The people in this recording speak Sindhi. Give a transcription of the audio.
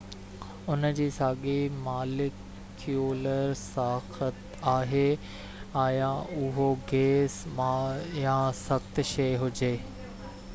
ان جي ساڳي ماليڪيولر ساخت آهي آيا اهو گئس مائع يا سخت شئي هجي